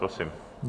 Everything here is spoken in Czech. Prosím.